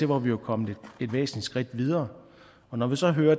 hvor vi var kommet et væsentligt skridt videre når vi så hører